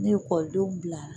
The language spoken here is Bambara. Ni ekɔlidenw bilara